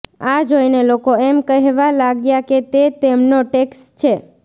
આ જોઈને લોકો એમ કહેવા લાગ્યા કે તે તેમનો ટેક્સ છે